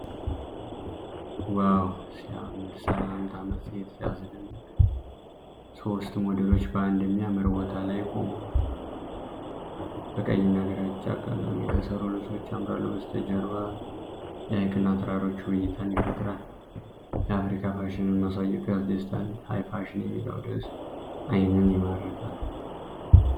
ዋው ሲያምር! "ሰላምታ" መጽሔት ሲያስደንቅ! ሦስት ሞዴሎች በአንድ የሚያምር ቦታ ላይ ቆመዋል። በቀይና ግራጫ ቀለም የተሠሩ ልብሶች ያምራሉ። በስተጀርባ ሐይቅና ተራራዎች ውብ እይታን ይፈጥራሉ። የአፍሪካ ፋሽንን ማሳየቱ ያስደስታል። "ሃይ ፋሽን" የሚለው ርዕስ ዓይንን ይማርካል!